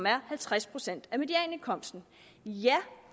er halvtreds procent af medianindkomsten ja